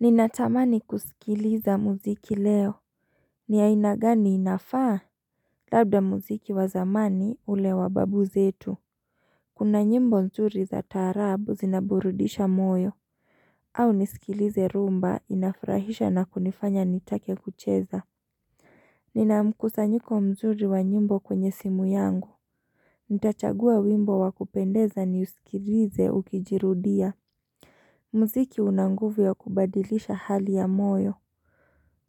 Ninatamani kusikiliza muziki leo Niainagani inafaa Labda muziki wazamani ulewa babu zetu Kuna nyimbo mzuri za taarabu zinaburudisha moyo au nisikilize rumba inafrahisha na kunifanya nitake kucheza Nina mkusa nyiko mzuri wa nyimbo kwenye simu yangu Nitachagua wimbo wakupendeza niusikilize ukijirudia Mziki unanguvu ya kubadilisha hali ya moyo